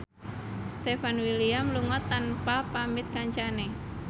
Stefan William lunga tanpa pamit kancane